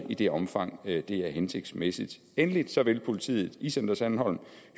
i det omfang det er hensigtsmæssigt endelig vil politiet i center sandholm